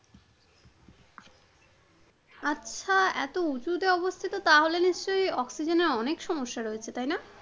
আচ্ছা এত উচুতে অবস্থিত তাহলে নিশ্চয়ই অক্সিজেনের অনেক সমস্যা রয়েছে তাইনা?